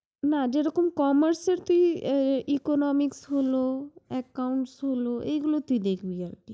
না যেরকম commerce এর তুই economics হলো, accounts হলো এগুলো তুই দেখবি আরকি